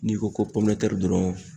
N'i ko ko pɔminɛtɛri dɔrɔn